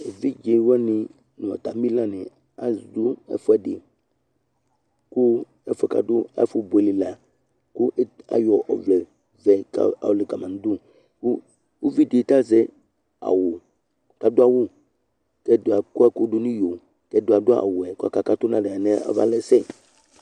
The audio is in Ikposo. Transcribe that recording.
evidzewanɩ nʊ atamɩlanɩ adʊ ɛfʊɛdɩ, kʊ ɛfʊ yɛ kʊ adʊ lɛ ɛfʊbuele la ayɔ ɔvlɛ vɛ yɔ lɛ kama nʊ udu, uvi dɩ azɛ awu, kʊ adʊ awu kʊ ɛdɩ akɔ ɛkʊ dʊ n'iyo, kʊ ɛdɩ yɛ adʊ awu yɛ kakatʊ nalɛnɛ malɛsɛ